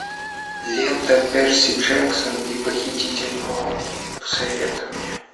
лента перси джексон и похититель молний посоветуй мне